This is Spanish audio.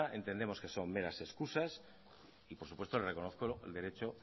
entendemos que son meras excusas y por supuesto le reconozco el derecho